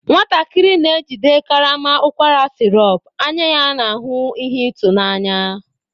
Nwatakịrị na-ejide karama ụkwara sirop, anya ya na ihe ịtụnanya.